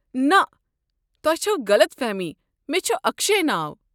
نہ، تۄہہ چھوٕ غلط فہمی، مےٚ چھُ اکشے ناو۔